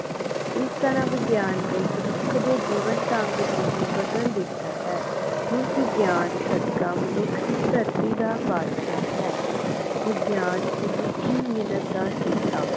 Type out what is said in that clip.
ਇਸ ਤਰਾਂ ਵਿਗਿਆਨ ਨੇ ਮਨੁੱਖ ਦੇ ਜੀਵਨ ਢੰਗ ਨੂੰ ਹੀ ਬਦਲ ਦਿਤਾ ਹੈ ਹੁਣ ਵਿਗਿਆਨ ਸਦਕਾ ਮਨੁੱਖ ਇਸੇ ਧਰਤੀ ਦਾ ਬਾਦਸ਼ਾਹ ਹੈ ਵਿਗਿਆਨ ਮਨੁੱਖੀ ਮਿਨਤ ਦਾ ਸਿੱਟਾ